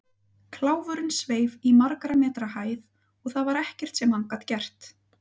Kláfurinn sveif í margra metra hæð og það var ekkert sem hann gat gert.